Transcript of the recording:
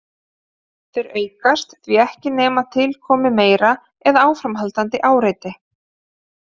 Þeir aukast því ekki nema til komi meira eða áframhaldandi áreiti.